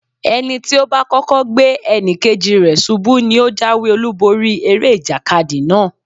Ẹni tí ó bá kọ́kọ́ gbé ẹnì kejì rẹ̀ ṣubú ní ó jáwé-olúborí eré ìjàkadì náà.